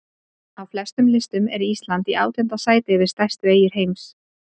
Á flestum listum er Ísland í átjánda sæti yfir stærstu eyjur heims.